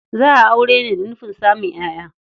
Za a aure ne da nufin samun ƴaƴa.